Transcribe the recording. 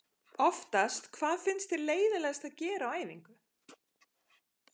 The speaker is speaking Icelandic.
oftast Hvað finnst þér leiðinlegast að gera á æfingu?